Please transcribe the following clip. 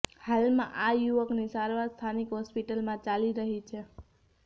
હાલમાં આ યુવકની સારવાર સ્થાનિક હોસ્પિટલમાં ચાલી રહી છે